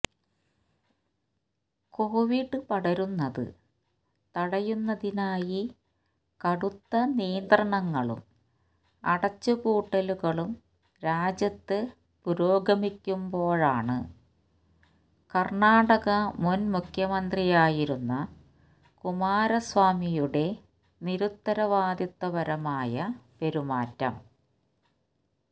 Covid പടരുന്നത് തടയുന്നതിനായി കടുത്ത നിയന്ത്രണങ്ങളും അടച്ചുപൂട്ടലുകളും രാജ്യത്ത് പുരോഗമിക്കുമ്പോഴാണ് കര്ണാടക മുന് മുഖ്യമന്ത്രിയായിരുന്ന കുമാരസ്വമിയുടെ നിരുത്തരവാദിത്തപരമായ പെരുമാറ്റം